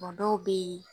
Kuma dɔw bɛ yen